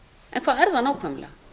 en hvað er það nákvæmlega